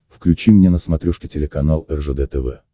включи мне на смотрешке телеканал ржд тв